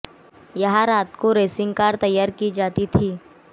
यहां रात को रेसिंग कार तैयार की जाती थीं